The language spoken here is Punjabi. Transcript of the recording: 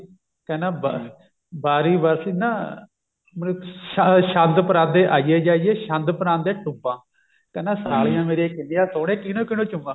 ਕਹਿੰਦਾ ਅਹ ਬਾਰੀ ਵਰਸੀ ਨਾ ਮਤਲਬ ਛੰਦ ਪਰਾਗੇ ਆਈਏ ਜਾਈਏ ਛੰਦ ਪਰਾਗੇ ਟੂਮਾਂ ਕਹਿੰਦਾ ਸਾਲੀਆਂ ਮੇਰੀਆਂ ਕਿੰਨੀਆਂ ਸੋਹਣੀਆਂ ਕਿਹਨੂੰ ਕਿਹਨੂੰ ਚੁੰਮਾ